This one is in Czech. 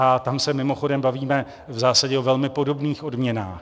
A tam se mimochodem bavíme v zásadě o velmi podobných odměnách.